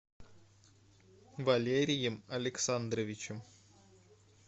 валерием александровичем